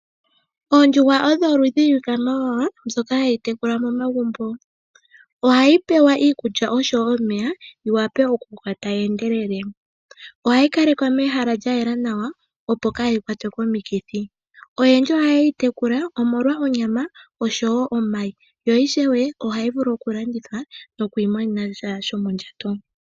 Oondjuhwa odho oludhi lwiikwamawawa mbyoka hayi tekulwa momagumbo. Ohayi pewa iikulya oshowo omeya, yi wape okukoka tayi endelele. Ohayi kalekwa mehala lya yela nawa opo kaa yi kwatwe komikithi. Oyendji ohaye yi tekula omolwa onyama oshowo omayi, yo ishewe ohayi vulu okulandithwa nokwiimonena sha shomondjato.